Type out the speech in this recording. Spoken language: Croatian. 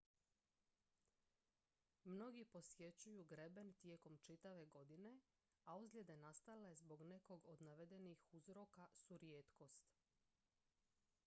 mnogi posjećuju greben tijekom čitave godine a ozljede nastale zbog nekog od navedenih uzroka su rijetkost